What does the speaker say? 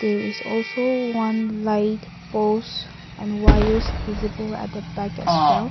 there is also one light poles and wires visible at the back has well.